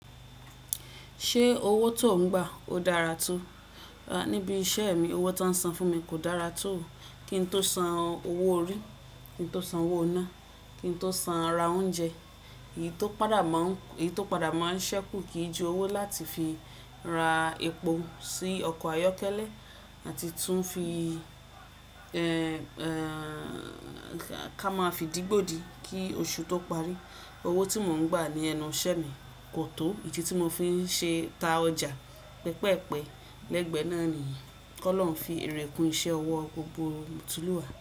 Ṣé owó tó ń gbà ó dára tó? Níbi iṣẹ́ mi, owó tó ń san fún mi kò dára tó. Kí n tó san owó orí, kí n tó san owó iná, kí n tó san ara oúnjẹ. Èyí tó padà máa ń ṣépù kì í ju owó láti fi ra epo sí ọkọ̀ ayọ́kẹ́lẹ́ àti tún fi ẹ ká máa fi dìgbòdi kí oṣù tó parí. Owó tí mò ń gbà ní ẹnu iṣẹ́ mi kò tó idi tí mò fi n ṣe ta ọjà pẹpẹ́pẹ̀ lẹ́gbẹ̀ẹ́ náà nìyẹn. Kọ́ lọ̀ọ́ fi erèkù iṣẹ́ owó gbogbo tùlúwa.